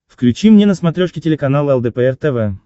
включи мне на смотрешке телеканал лдпр тв